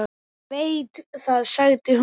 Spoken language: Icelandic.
Ég veit það, sagði hún.